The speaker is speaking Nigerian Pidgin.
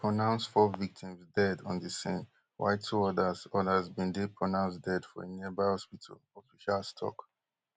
dem pronouce four victims dead on di scene while two odas odas bin dey pronounced dead for a nearby hospital officials tok